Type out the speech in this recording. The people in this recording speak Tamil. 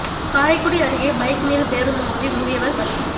காரைக்குடி அருகே பைக் மீது பேருந்து மோதி முதியவா் பலி